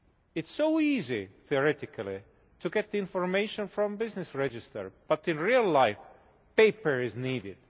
It is so easy theoretically to get information from business register, but in real life paper is needed.